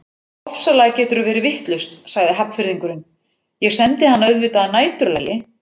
Ofsalega geturðu verið vitlaus sagði Hafnfirðingurinn, ég sendi hana auðvitað að næturlagi